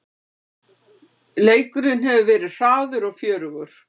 Leikurinn hefur verið hraður og fjörugur